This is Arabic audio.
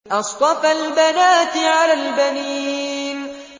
أَصْطَفَى الْبَنَاتِ عَلَى الْبَنِينَ